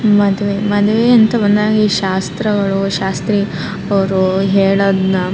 ಮದುವೆ ಮದುವೆ ಅಂತ ಬಂದಾಗ ಈ ಶಾಸ್ತ್ರಗಳು ಶಾಸ್ತ್ರೀ ಅವ್ರು ಹೇಳೋದ್ನ --